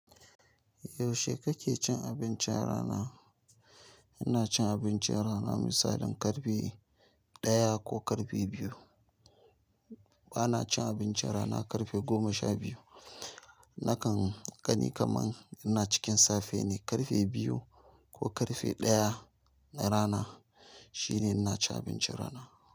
Yaushe kake cin abincin rana? Ina cin abincin rana misalin karfe ɗaya ko karfe biyu. Bana cin abincin rana karfe goma sha biyu. Nakan gani kaman ina cikin safe ne, karfe biyu ko karfe ɗaya na rana shine ina cin abincin rana.